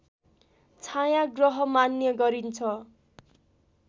छाया ग्रह मान्ने गरिन्छ